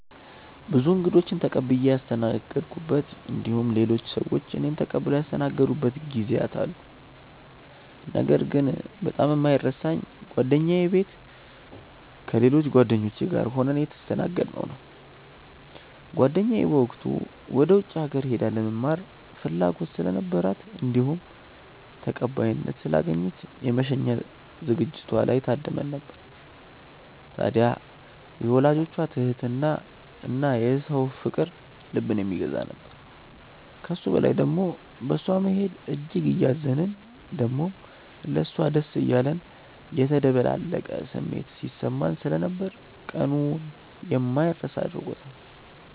ብዙ እንግዶችን ተቀብዬ ያስተናገድኩበት እንዲሁም ሌሎች ሰዎች እኔን ተቀብለው ያስተናገዱበት ጊዜያት አሉ። ነገር ግን በጣም የማይረሳኝ ጓደኛዬ ቤት ከሌሎች ጓደኞቼ ጋር ሆነን የተስተናገድነው ነው። ጓደኛዬ በወቅቱ ወደ ውጪ ሀገር ሄዳ ለመማር ፍላጎት ስለነበራት እንዲሁም ተቀባይነት ስላገኘች የመሸኛ ዝግጅቷ ላይ ታድመን ነበር። ታድያ የወላጆቿ ትህትና እና የሰው ፍቅር ልብን የሚገዛ ነበር። ከሱ በላይ ደሞ በእሷ መሄድ እጅግ እያዘንን ደሞም ለሷ ደስ እያለን የተደበላለቀ ስሜት ሲሰማን ስለነበር ቀኑን የማይረሳ አድርጎታል።